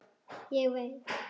Ég veit.